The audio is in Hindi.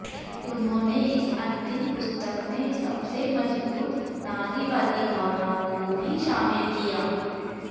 उन्होंने इस अंतिम पुस्तक में सबसे मजबूत नारीवादी भावनाओं को भी शामिल किया